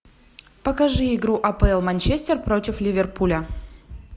покажи игру апл манчестер против ливерпуля